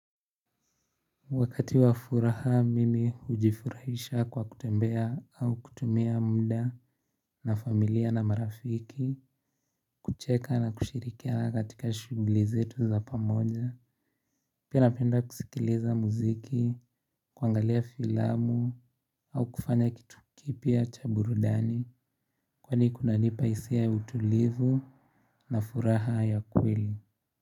Wakati wa furaha mimi hujifurahisha kwa kutembea au kutumia muda na familia na marafiki, kucheka na kushirikia katika shughuli zetu za pamoja, pia napenda kusikiliza muziki, kuangalia filamu au kufanya kitu kipya cha burudani, kwani kunanipa hisia ya utulivu na furaha ya kweli.